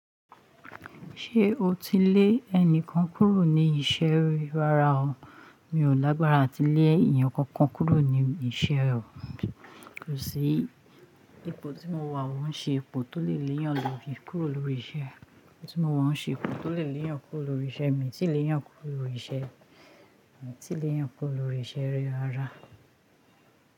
Ṣé o ti lé ẹnìkan kúrò ní iṣẹ́ ri rárá o. Mi ò lágbára àti lé èèyàn kankan kúrò níbi iṣẹ́ o. Kò sí ipò tí mo wà, ọun ṣe ipò tó lè léyàn lóri kúrò lórí iṣẹ́. Tí mo maa n ṣe ipò tó lè léyàn kúrò lórí iṣẹ́. Èmi tí lè yàn kúrò lórí iṣẹ́, èmi tí lè yàn kúrò lórí iṣẹ́ ri rárá.